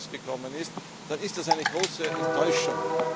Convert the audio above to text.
was nicht herausgekommen ist, dann ist das eine große Enttäuschung.